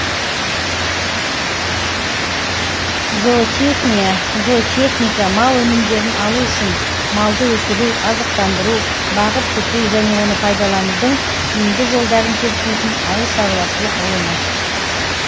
зоотехния зоотехника мал өнімдерін алу үшін малды өсіру азықтандыру бағып күту және оны пайдаланудың тиімді жолдарын зерттейтін ауыл шаруашылық ғылымы